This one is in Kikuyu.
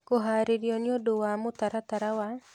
Kũhaarĩrio nĩ ũndũ wa mũtaratara wa